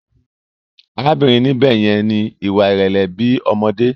Arábìnrin níbè yẹn ni ìwà ìrẹlẹ bi ọmọdé.